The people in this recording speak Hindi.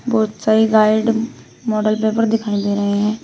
बहुत सारी गाइड मॉडल पेपर दिखाई दे रहे हैं।